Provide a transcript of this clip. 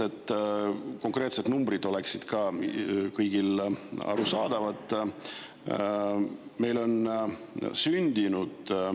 Et konkreetsed numbrid oleksid ka kõigile.